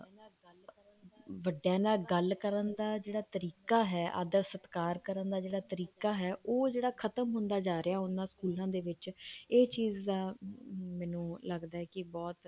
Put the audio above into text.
ਵੱਡਿਆਂ ਨਾਲ ਗੱਲ ਕਰਨ ਦਾ ਤਰੀਕਾ ਹਾ ਆਦਰ ਸਤਿਕਾਰ ਕਰਨਾ ਦਾ ਜਿਹੜਾ ਤਰੀਕਾ ਹੈ ਉਹ ਜਿਹੜਾ ਖਤਮ ਹੁੰਦਾ ਜਾ ਰਿਹਾ ਉਹਨਾ ਸਕੂਲਾਂ ਦੇ ਵਿੱਚ ਇਹ ਚੀਜ਼ ਦਾ ਮੈਨੂੰ ਲੱਗਦਾ ਕੀ ਬਹੁਤ